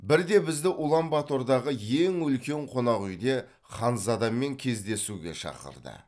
бірде бізді улан батордағы ең үлкен қонақүйде ханзадамен кездесуге шақырды